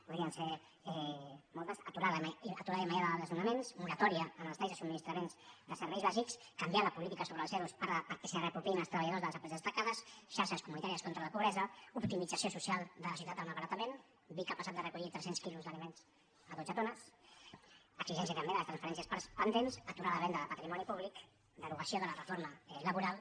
podrien ser moltes aturada immediata de desnonaments moratòria en els talls de subministrament de serveis bàsics canviar la política sobre els ero perquè se’n reapropiïn els treballadors de les empreses tancades xarxes comunitàries contra la pobresa optimització social de la societat del malbaratament vic ha passat de recollir tres cents quilos d’aliments a dotze tones exigència també de les transferències pendents aturar la venda de patrimoni públic derogació de la reforma laboral